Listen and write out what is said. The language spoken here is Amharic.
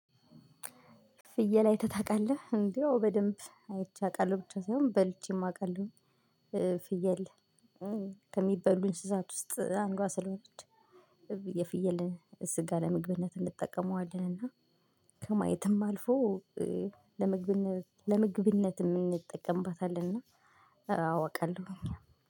ፍየል አይተህ ታውቃለህ እንዴ አዎ በደንብ አይቼ አውቃለሁ ብቻ ሳይሆን በልቼም አውቃለሁ። ፍየል ከሚበሉ እንስሳት ውስጥ አንዷ ስለሆነች። የፍየልን እስጋ ለመግብነት እንጠቀመዋለን። እና ከማየትም አልፎ ለመግብነት ለመግብነት የምንጠቀምበታልና። አውቃለሁ እኛ